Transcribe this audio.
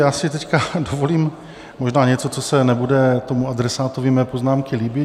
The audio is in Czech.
Já si teď dovolím možná něco, co se nebude tomu adresátovi mojí poznámky líbit.